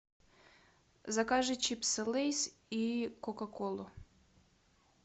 закажи чипсы лейс и кока колу